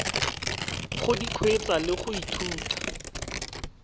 go kgweetsa le go ithuta